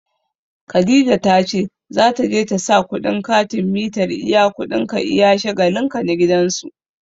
Khadija ta ce za ta je ta sa kuɗin katin mitar iya kuɗin ka iya shagalin ka na gidan su.